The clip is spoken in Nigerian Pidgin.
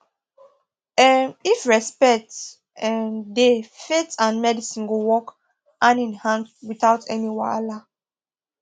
um if respect um dey faith and medicine go work hand in hand without any wahala